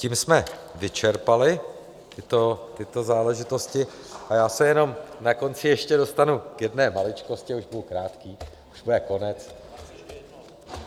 Tím jsme vyčerpali tyto záležitosti a já se jenom na konci ještě dostanu k jedné maličkosti, už budu krátký, už bude konec.